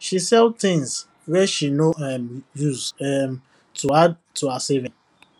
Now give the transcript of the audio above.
she sell things wey she no um use um um to add to her saving